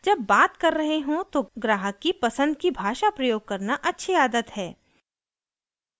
जब बात कर रहे हों तो ग्राहक की पसंद की भाषा प्रयोग करना अच्छी आदत है